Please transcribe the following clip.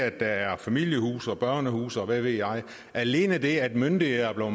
at der er familiehuse og børnehuse og hvad ved jeg alene det at myndighederne er